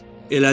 Elədi.